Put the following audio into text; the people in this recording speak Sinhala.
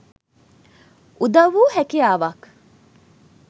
උදව් වූ හැකියාවක්